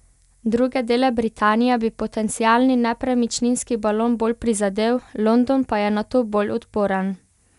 Druge dele Britanije bi potencialni nepremičninski balon bolj prizadel, London pa je na to bolj odporen.